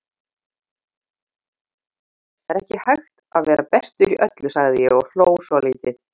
Það er ekki hægt að vera bestur í öllu, sagði ég og hló svolítið.